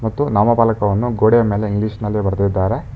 ಮತ್ತು ನಾಮಫಲಕವನ್ನು ಗೋಡೆಯ ಮೇಲೆ ಇಂಗ್ಲಿಷಿನಲ್ಲಿ ಬರೆದಿದ್ದಾರೆ.